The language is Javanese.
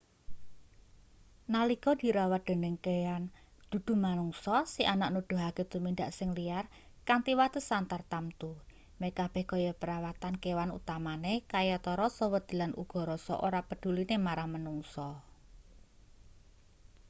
nalika dirawat dening kean dudu-manungsa si anak nuduhake tumindak sing liar kanthi watesan tartamtu meh kabeh kaya perawatan kewan utamane kayata rasa wedi lan uga rasa ora pedhuline marang manungsa